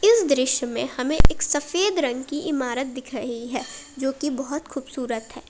इस दृश्य में हमें एक सफेद रंग की इमारत दिख रही है जोकी बहुत खूबसूरत है।